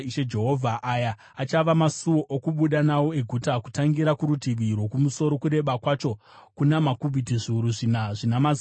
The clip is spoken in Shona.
“Aya achava masuo okubuda nawo eguta: “Kutangira kurutivi rwokumusoro, kureba kwacho kuna makubhiti zviuru zvina zvina mazana mashanu,